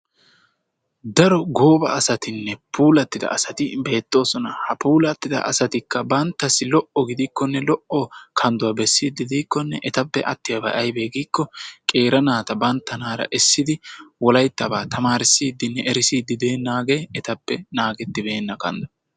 Daro gooba asatinne puulattida asati beettoosona. Ha puulattida asatikka banttassi lo"o gidikkonne lo"o kandduwa bessiiddi diikkonne etappe attiyabay ayibee giikko qeera naata banttanaara essidi wolayittabaa tamaarissiddinne erissiiddi deennaagee etappe naagettibeenna kanddo.